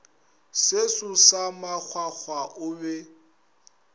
seso sa makgwakgwa o be